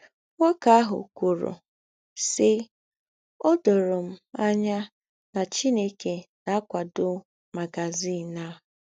Nwókè àhụ̀ kwùrù, sì ‘ Ọ dòrò m ànyà nà Chìnèkè na - àkwàdò magazìn à. ’